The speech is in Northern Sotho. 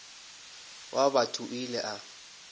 wa batho o ile a